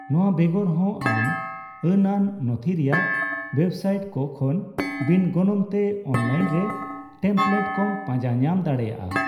ᱱᱚᱣᱟ ᱵᱮᱜᱚᱨᱦᱚᱸ ᱟᱢ ᱟᱹᱱᱟᱱ ᱱᱚᱛᱷᱤ ᱨᱮᱭᱟᱜ ᱳᱭᱮᱵᱽᱥᱟᱭᱤᱴ ᱠᱚ ᱠᱷᱚᱱ ᱵᱤᱱ ᱜᱚᱱᱚᱝᱛᱮ ᱚᱱᱞᱟᱭᱤᱱ ᱨᱮ ᱴᱮᱢᱯᱞᱮᱴ ᱠᱚᱢ ᱯᱟᱸᱡᱟ ᱧᱟᱢ ᱫᱟᱲᱮᱭᱟᱜᱼᱟ ᱾